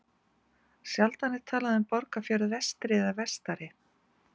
Sjaldan er talað um Borgarfjörð vestri eða vestari.